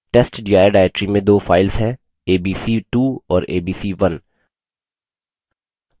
testdir directory में दो files हैं abc2 और abc1